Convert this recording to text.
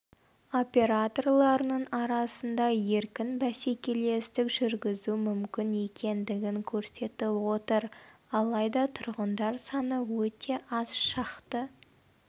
операторларының арасында еркін бәсекелестік жүргізу мүмкін екендігін көрсетіп отыр алайда тұрғындар саны өте аз шақты